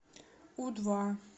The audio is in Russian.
у два